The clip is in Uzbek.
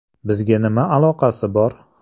Bizga nima aloqasi bor?”.